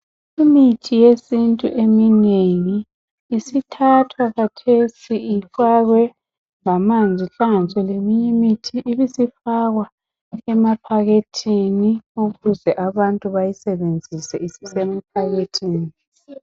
imithi yesintu eminengi isithathwa khathesi ifakwe lamanzi ihlanganiswe leminye imithi ibisifakwa emaphakethini ukuze abantu bayisebenzise isisemaphakethini